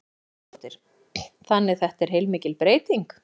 Telma Tómasdóttir: Þannig þetta er heilmikil breyting?